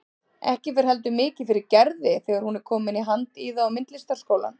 Ekki fer heldur mikið fyrir Gerði þegar hún er komin í Handíða- og myndlistaskólann.